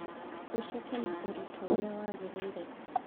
ũceke na ũritũ ũrĩa wagĩrĩire